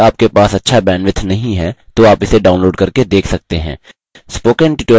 यदि आपके पास अच्छा bandwidth नहीं है तो आप इसे download करके देख सकते हैं